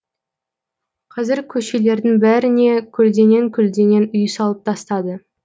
қазір көшелердің бәріне көлденең көлденең үй салып тастады